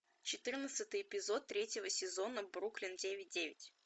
четырнадцатый эпизод третьего сезона бруклин девять девять